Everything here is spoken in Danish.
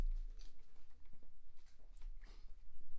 Jeg hedder Søren jeg er indtaler A